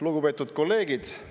Lugupeetud kolleegid!